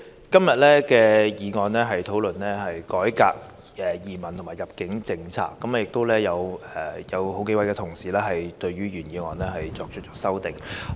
今天的議案主題是"改革移民及入境政策"，同時有數位同事對原議案動議修正案。